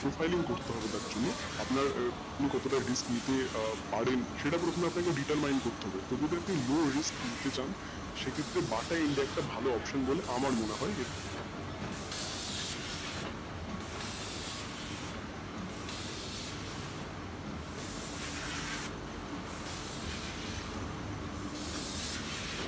ঘুরতে হবে তার জন্য আপনার কতোটা risk নিতে পারেন সেটা প্রথমে আপনাকে determind করতে হবে যদি আপনি low risk নিতে চান সেক্ষেত্রে BATA India একটা ভালো option বলে আমার মনে হয়,